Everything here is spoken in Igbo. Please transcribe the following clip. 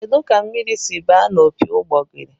Kedụ ka mmiri si ba na opi ụgbogụrụ?